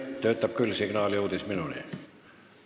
Töötab küll, signaal jõudis minuni.